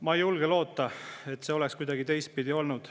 Ma ei julge loota, et see oleks kuidagi teistpidi olnud.